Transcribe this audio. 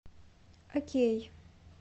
окей